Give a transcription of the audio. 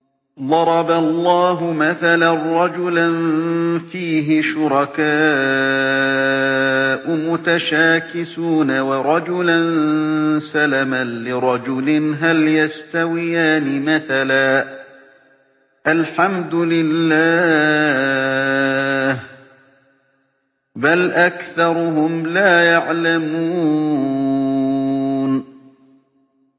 ضَرَبَ اللَّهُ مَثَلًا رَّجُلًا فِيهِ شُرَكَاءُ مُتَشَاكِسُونَ وَرَجُلًا سَلَمًا لِّرَجُلٍ هَلْ يَسْتَوِيَانِ مَثَلًا ۚ الْحَمْدُ لِلَّهِ ۚ بَلْ أَكْثَرُهُمْ لَا يَعْلَمُونَ